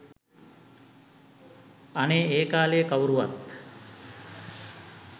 අනේ ඒ කාලේ කවුරුවත්